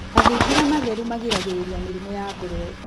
Mathingira matheru magiragĩrĩria mĩrimũ ya ngũrũwe.